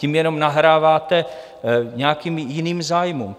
Tím jenom nahráváte nějakým jiným zájmům.